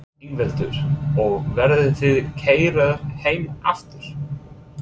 Ingveldur: Og verðið þið keyrðar heim aftur?